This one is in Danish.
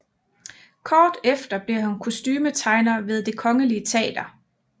Kort efter blev han kostumetegner ved Det Kongelige Teater